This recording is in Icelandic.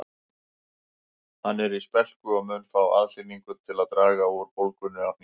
Hann er í spelku og mun fá aðhlynningu til að draga úr bólgunni á hnénu